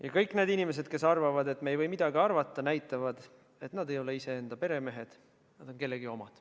Ja kõik need inimesed, kes arvavad, et me ei või midagi arvata, näitavad, et nad ei ole iseenda peremehed, et nad on kellegi omad.